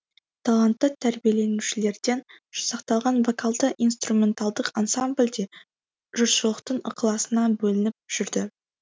талантты тәрбиеленушілерден жасақталған вокалды инструменталдық ансамбль де жұртшылықтың ықыласына бөлініп жүрді